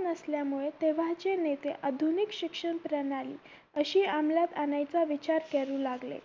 नसल्यामुळे तेव्हाचे नेते आधुनिक शिक्षण प्रणाली अशी आमलात आणायचा विचार करू लागले